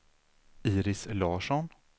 Iris Larsson